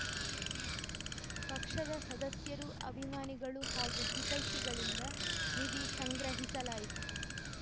ಪಕ್ಷದ ಸದಸ್ಯರು ಅಭಿಮಾನಿಗಳು ಹಾಗೂ ಹಿತೈಷಿಗಳಿಂದ ನಿಧಿ ಸಂಗ್ರಹಿಸಲಾಯಿತು